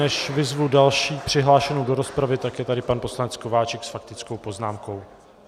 Než vyzvu další přihlášenou do rozpravy, tak je tady pan poslanec Kováčik s faktickou poznámkou.